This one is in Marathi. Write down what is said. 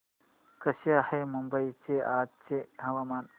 कसे आहे मुंबई चे आजचे हवामान